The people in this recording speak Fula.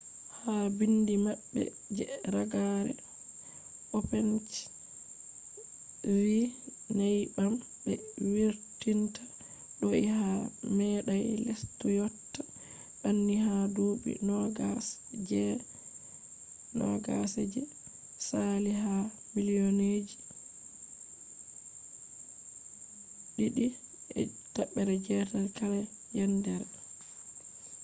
ha biindi maɓɓe je ragare opec vi nyebbam be vurtinta do’i ha meɗai lestu yotta banni ha duuɓi nogas je saali ha millionji 2.8 kala yendere